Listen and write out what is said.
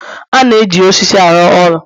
A na-eji osisi arụ ụlọ